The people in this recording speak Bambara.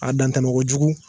A dantɛmɛ kojugu.